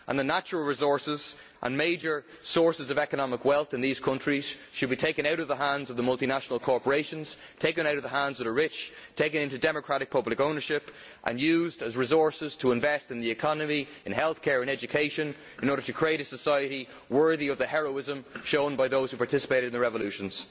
In addition, the natural resources and major sources of economic wealth in these countries should be taken out of the hands of the multinational corporations and the rich, and taken into democratic public ownership for use as resources to invest in the economy, health care and education, in order to create a society worthy of the heroism shown by those who participated in the revolutions.